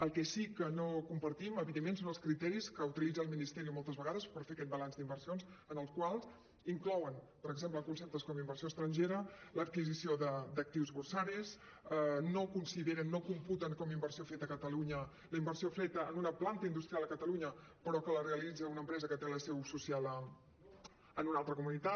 el que sí que no compartim evidentment són els criteris que utilitza el ministerio moltes vegades per fer aquest balanç d’inversions en el qual inclouen per exemple en conceptes com inversió estrangera l’adquisició d’actius borsaris no consideren no computen com a inversió feta a catalunya la inversió feta en una planta industrial a catalunya però que la realitza una empresa que té la seu social en una altra comunitat